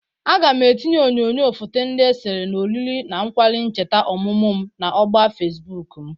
Aga m etinye onyoyo foto ndị esere na oriri na nkwari ncheta oMụMụ m na ogba Fesbụk m.